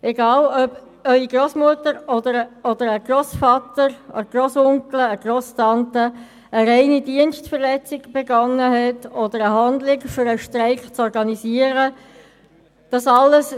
Egal ob Ihre Grossmutter, ein Grossvater, ein Grossonkel oder eine Grosstante eine reine Dienstverletzung beging, indem eine Handlung für die Organisation des Streiks getätigt wurde: